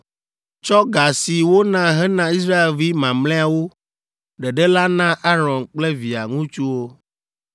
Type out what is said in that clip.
Tsɔ ga si wona hena Israelvi mamlɛawo ɖeɖe la na Aron kple via ŋutsuwo.”